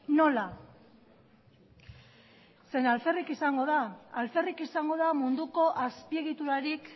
nola zeren alferrik izango da alferrik izango da munduko azpiegiturarik